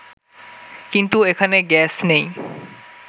কিন্তু এখানে গ্যাস নেই